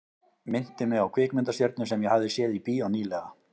Minnti mig á kvikmyndastjörnu sem ég hafði séð í bíó ný- lega.